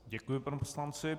Děkuji panu poslanci.